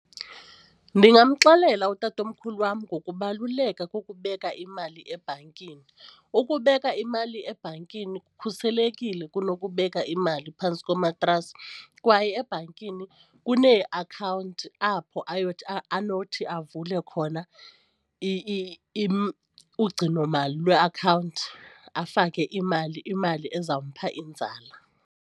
Ndingamxelela utatomkhulu wam ngokubaluleka kokubeka imali ebhankini, ukubeka imali ebhankini kukhuselekile kunokubeka imali phantsi komatrasi kwaye ebhankini kuneakhawunti apho ayothi anothi avule khona ugcinomali lweakhawunti afake imali imali ezampha inzala.